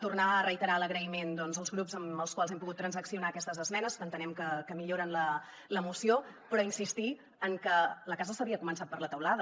tornar a reiterar l’agraïment als grups amb els quals hem pogut transaccionar aquestes esmenes que entenem que milloren la moció però insistir en que la casa s’havia començat per la teulada